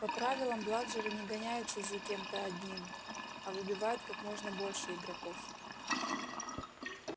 по правилам бладжеры не гоняются за кем-то одним а выбивают как можно больше игроков